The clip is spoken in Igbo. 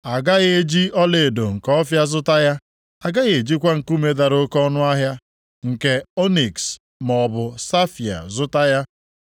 A gaghị eji ọlaedo nke Ọfịa zụta ya, a gaghị ejikwa nkume dara oke ọnụahịa nke ọniks maọbụ safaia zụta ya,